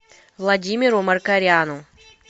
владимиру маркаряну